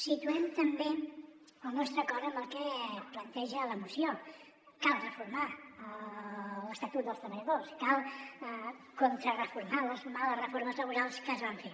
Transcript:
situem també el nostre acord amb el que planteja la moció cal reformar l’esta·tut dels treballadors cal contrarreformar les males reformes laborals que es van fer